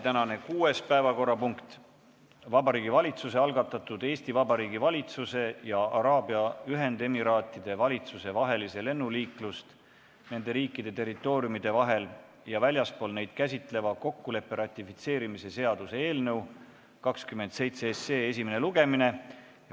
Tänane kuues päevakorrapunkt: Vabariigi Valitsuse algatatud Eesti Vabariigi valitsuse ja Araabia Ühendemiraatide valitsuse vahelise lennuliiklust nende riikide territooriumide vahel ja väljaspool neid käsitleva kokkuleppe ratifitseerimise seaduse eelnõu 27 esimene lugemine.